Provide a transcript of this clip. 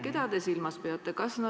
Keda te silmas peate?